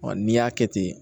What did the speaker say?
n'i y'a kɛ ten